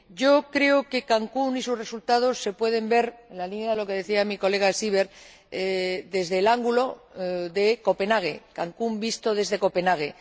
Yo creo que Cancún y sus resultados se pueden ver, en la línea de lo que decía mi colega Seeber, desde el ángulo de Copenhague Cancún visto desde Copenhague.